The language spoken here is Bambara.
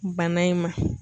Bana in ma.